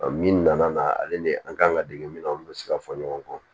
min nana n'a ale ni an kan ka dege min na olu bɛ se ka fɔ ɲɔgɔn kɔ